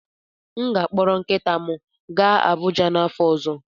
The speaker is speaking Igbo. M ga-akpọrọ nkịta m gaa Abụja n'afọ ọzọ.